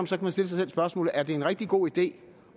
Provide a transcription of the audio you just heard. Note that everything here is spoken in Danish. sig selv spørgsmålet er det en rigtig god idé